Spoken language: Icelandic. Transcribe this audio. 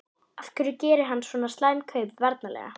Af hverju gerir hann svona slæm kaup varnarlega?